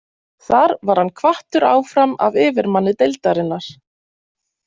Þar var hann hvattur áfram af yfirmanni deildarinnar.